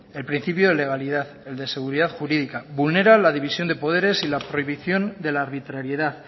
el principio de legalidad el de seguridad jurídica vulnera la división de poderes y la prohibición de la arbitrariedad